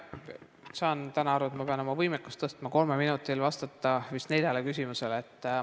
Ma saan täna aru, et ma pean oma võimekust tõstma, kolme minutiga tuleb vastata vist neljale küsimusele.